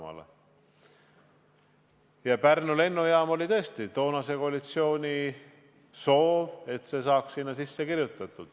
Ja tõesti, Pärnu lennujaama rajamine oli toonase koalitsiooni soov, mis taheti lepingusse sisse kirjutada.